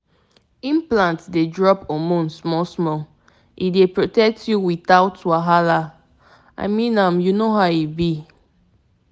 once dem put implant your monthly flow fit change small — but e but e go give you peace of mind for years straight!